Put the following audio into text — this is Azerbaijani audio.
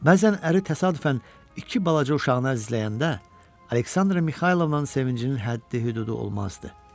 Bəzən əri təsadüfən iki balaca uşağını əzizləyəndə Aleksandra Mixaylovnanın sevincinin həddi-hüdudu olmazdı.